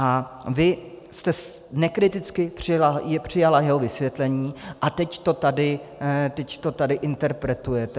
A vy jste nekriticky přijala jeho vysvětlení a teď to tady interpretujete.